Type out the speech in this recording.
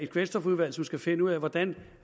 kvælstofudvalg som skal finde ud af hvordan